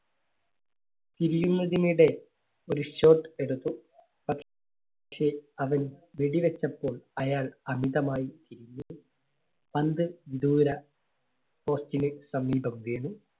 തിരിയുന്നതിനിടെ ഒരു shot എടുത്തു. പ~ക്ഷേ അവൻ വെടി വച്ചപ്പോൾ അയാൾ അന്ധമായി തിരിഞ്ഞു. പന്ത് ദൂരെ post ന് സമീപം വീണു.